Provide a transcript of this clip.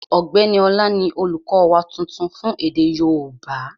Ọ̀gbẹ́ni Ọlá ni olùkọ́ wa tuntun fún èdè yóòbá